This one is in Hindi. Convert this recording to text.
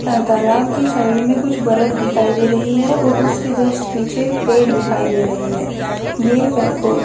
तालाब के साइड में कुछ बरफ दिखाई दे रही है और उसके जस्ट पीछे पेड़ दिखाई दे रहे हैं ये पः फोटो --